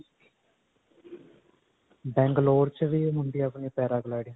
Bangalore 'ਚ ਵੀ ਹੁੰਦੀ ਹੈ ਅਪਣੀ paragliding